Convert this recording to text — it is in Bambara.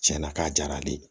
Tiɲɛna k'a diyara ale ye